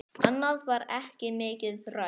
Annað var ekki mikið rætt.